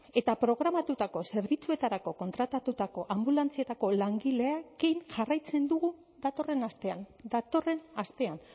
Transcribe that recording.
eta programatutako zerbitzuetarako kontratatutako anbulantzietako langileekin jarraitzen dugu datorren astean datorren astean